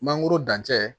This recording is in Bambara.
Mangoro dancɛ